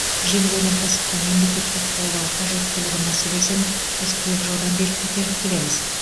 жеңіл өнеркәсіпті мемлекеттік қолдау қажеттілігі мәселесін біз көп жылдан бері көтеріп келеміз